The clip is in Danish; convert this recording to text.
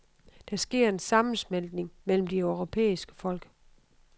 Der sker en sammensmeltning mellem de europæiske folk.